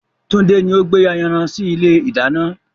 Tunde ni o gbé ayanran sì ilé ìdáná